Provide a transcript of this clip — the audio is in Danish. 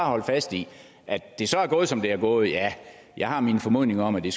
holdt fast i at det så er gået som det er gået ja jeg har min formodning om at det